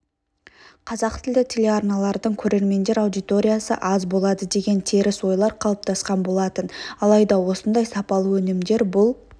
қазақтілді телеарналардың көрермендер аудиториясы аз болады деген теріс ойлар қалыптасқан болатын алайда осындай сапалы өнімдер бұл